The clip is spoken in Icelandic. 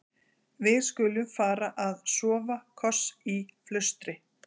Við-skulum-fara-að-sofa-koss í flaustri.